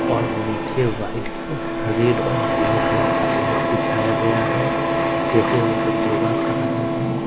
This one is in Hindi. और नीचे वाइट रेड और ब्लैक कलर का मैट बिछाया गया है जैसे वो सब योगा कर रहे हैं।